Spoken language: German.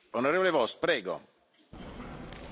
Herr Präsident, liebe Kolleginnen und Kollegen!